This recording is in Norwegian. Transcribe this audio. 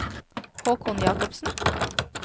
Haakon Jacobsen